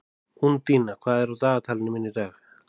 Úndína, hvað er á dagatalinu mínu í dag?